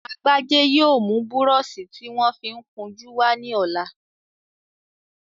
Agbájé yóò mú búrọṣí tí wọ́n fi ń kun jú wá ní ọ̀la